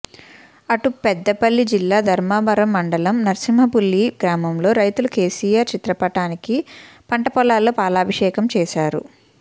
అటు పెద్దపల్లి జిల్లా ధర్మారం మండలం నర్సింహులపల్లి గ్రామంలో రైతులు కేసీఆర్ చిత్రపటానికి పంట పొలాల్లో పాలాభిషేకం చేశారు